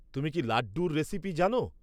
তুমি কি লাড্ডুর রেসিপি জানো?